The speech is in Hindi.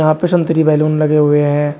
वहां पे संतरी बैलून लगे हुए हैं।